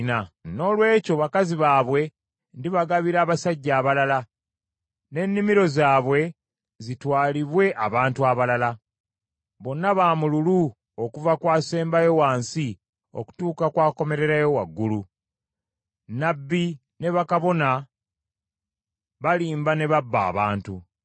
Noolwekyo bakazi baabwe ndibagabira abasajja abalala n’ennimiro zaabwe zitwalibwe abantu abalala. Bonna ba mululu okuva ku asembayo wansi okutuuka ku akomererayo waggulu, nnabbi ne kabona bonna balimba ne babba abantu.